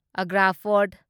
Agra fort